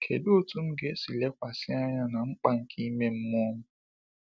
Kedu otu m ga esi lekwasị anya na mkpa nke ime mmụọ m?